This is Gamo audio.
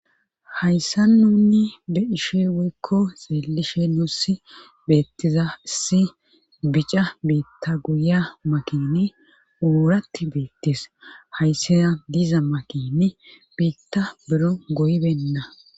Hayssa nunni be7ishin woykko xeelishe nuussi beettiza issi bica biitta guya makini uuratti beettes hayssana diza makini biitta bero goybenna.